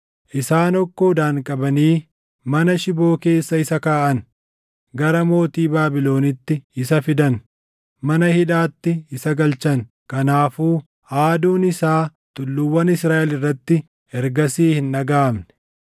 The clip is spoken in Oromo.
Isaan hokkoodhaan qabanii mana shiboo keessa isa kaaʼan; gara mootii Baabilonitti isa fidan. Mana hidhaatti isa galchan; kanaafuu aaduun isaa tulluuwwan Israaʼel irratti ergasii hin dhagaʼamne.